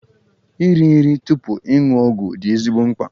Iri nri tupu ịṅụ ọgwụ dị ezigbo mkpa.